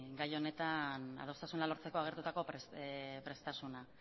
gai honetan adostasuna lortzeko agertutako prestasuna